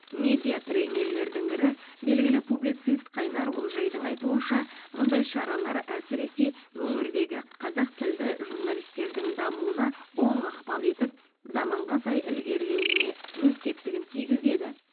медиа тренерлердің бірі белгілі публицист қайнар олжайдың айтуынша мұндай шаралар әсіресе өңірдегі қазақ тілді журналистердің дамуына оң ықпал етіп заманға сай ілгерлеуіне өз септігін тигізеді